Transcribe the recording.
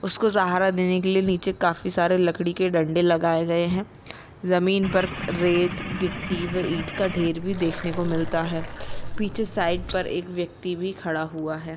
उसको साहारा देने के लिए नीचे काफी सारे लकड़ी के डंडे लगाए गए है जमीन पर रेत गिटी इट का ढेर भी देखने को मिलता है पीछे साइड पर एक व्यक्ति भी खड़ा हुआ है।